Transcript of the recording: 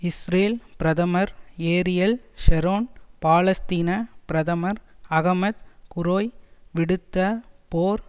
Israel பிரதமர் Ariel Sharon பாலஸ்தீன பிரதமர் அகமத் குரேய் விடுத்த போர்